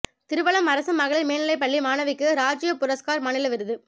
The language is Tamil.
திருவலம் அரசு மகளிா் மேல்நிலைப் பள்ளி மாணவிக்கு ராஜ்ய புரஸ்காா் மாநில விருது